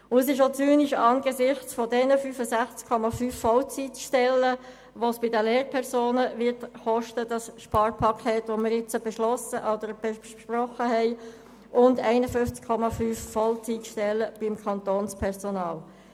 Es ist auch zynisch angesichts der 65,5 Vollzeitstellen, die das Sparpaket, das wir jetzt besprochen haben, bei den Lehrpersonen kosten wird sowie den 51,5 Vollzeitstellen beim Kantonspersonal.